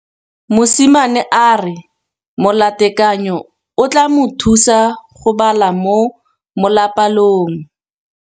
Mosimane a re molatekanyô o tla mo thusa go bala mo molapalong.